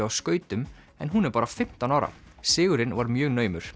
á skautum en hún er bara fimmtán ára sigurinn var mjög naumur